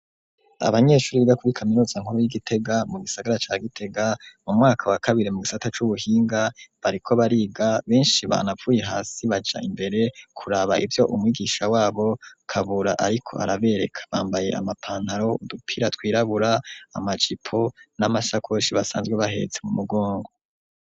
Abanyeshure biga kuri kaminutsa nkuru y'i Gitega mu gisagara ca Gitega mu mwaka wa kabiri mu gisata c'ubuhinga, bariko bariga, benshi banavuye hasi baja imbere kuraba ivyo umwigisha wabo Kabura ariko arabereka. Bambaye amapantaro, udupira twirabura, amajipo n'amasakoshi basanzwe bahetse mu mugongo.